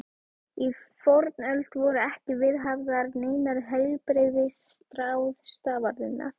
Í fornöld voru ekki viðhafðar neinar heilbrigðisráðstafanir.